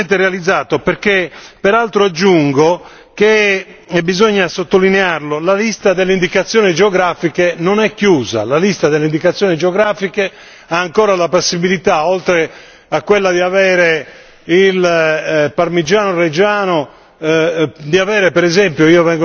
uno sbocco che può essere sicuramente realizzato, perché peraltro aggiungo che e bisogna sottolinearlo la lista delle indicazioni geografiche non è chiusa, la lista delle indicazioni geografiche ha ancora la possibilità, oltre a quella di avere il parmigiano reggiano